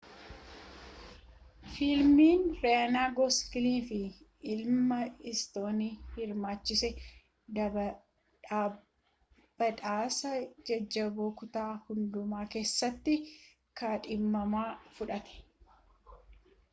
fiilmiin riyaan gosliingii fi immaa istoon hirmaachise badhaasa jajjaboo kutaa hundumaa keessatti kaadhimama fudhate